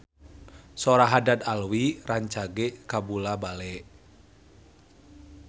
Sora Haddad Alwi rancage kabula-bale